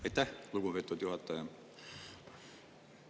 Aitäh, lugupeetud juhataja!